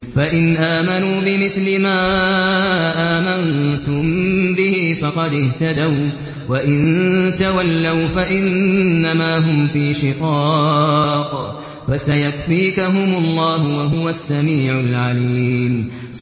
فَإِنْ آمَنُوا بِمِثْلِ مَا آمَنتُم بِهِ فَقَدِ اهْتَدَوا ۖ وَّإِن تَوَلَّوْا فَإِنَّمَا هُمْ فِي شِقَاقٍ ۖ فَسَيَكْفِيكَهُمُ اللَّهُ ۚ وَهُوَ السَّمِيعُ الْعَلِيمُ